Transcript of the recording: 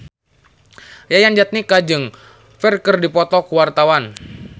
Yayan Jatnika jeung Ferdge keur dipoto ku wartawan